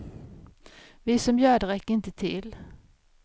Vi som gör det räcker inte till.